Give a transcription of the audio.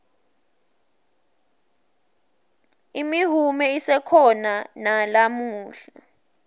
imihume isekhona nalamuhla